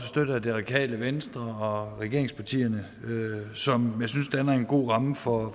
støttet af det radikale venstre og regeringspartierne som jeg synes danner en god ramme for